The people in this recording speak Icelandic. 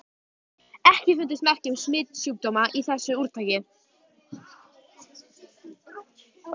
EKKI FUNDUST MERKI UM SMITSJÚKDÓMA Í ÞESSU ÚRTAKI.